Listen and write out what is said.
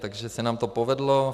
Takže se nám to povedlo.